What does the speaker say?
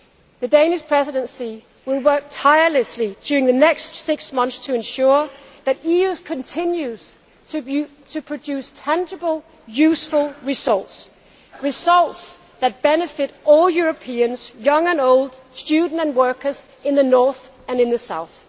The Danish Presidency will work tirelessly during the next six months to ensure that the EU continues to produce tangible, useful results results that benefit all Europeans, young and old, students and workers, in the North and in the South.